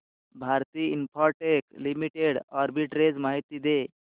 Bharti Infratel limited arbitrage माहिती दे